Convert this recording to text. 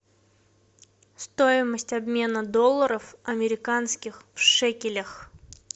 стоимость обмена долларов американских в шекелях